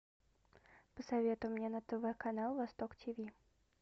посоветуй мне на тв канал восток тиви